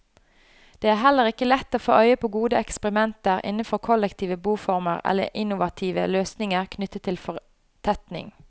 Det er heller ikke lett å få øye på gode eksperimenter innenfor kollektive boformer eller innovative løsninger knyttet til fortetning.